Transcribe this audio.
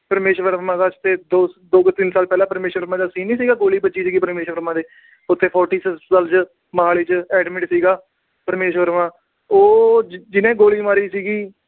ਪਰਮੀਸ਼ ਵਰਮਾ ਦਾ ਦੋ ਜਾਂ ਤਿੰਨ ਸਾਲ ਪਹਿਲਾਂ scene ਨੀ ਸੀਗਾ, ਗੋਲੀ ਵੱਜੀ ਸੀ ਪਰਮੀਸ਼ ਵਰਮਾ ਦੇ। ਉਥੇ Fortis ਹਸਪਤਾਲ ਚ ਮੋਹਾਲੀ ਚ admit ਸੀਗਾ ਪਰਮੀਸ਼ ਵਰਮਾ। ਉਹ ਜਿਹਨੇ ਗੋਲੀ ਮਾਰੀ ਸੀ।